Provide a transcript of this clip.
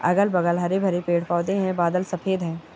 अगल- बगल हरे-भरे पेड़ पौधे है बादल सफेद है।